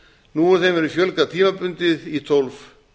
nú hefur þeim verið fjölgað tímabundið í tólf